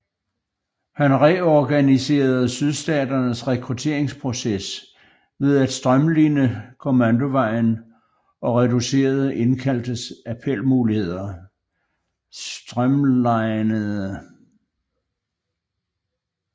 Han reorganiserede sydstaternes rekrutteringsproces ved at strømline kommandovejen og reducerede indkaldtes appelmuligheder